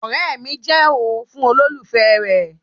ọ̀rẹ́ mi ti jẹ́ ooo fún olólùfẹ́ rẹ